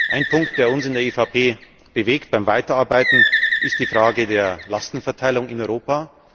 Ein Punkt, der uns in der EVP beim Weiterarbeiten bewegt, ist die Frage der Lastenverteilung in Europa.